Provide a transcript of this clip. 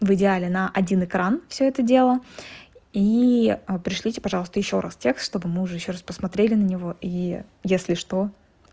в идеале на один экран всё это дело и пришлите пожалуйста ещё раз текст чтобы мы уже ещё раз посмотрели на него и если что